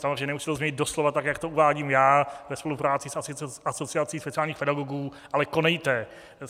Samozřejmě nemusíte to změnit doslova tak, jak to uvádím já ve spolupráci s Asociací speciálních pedagogů, ale konejte.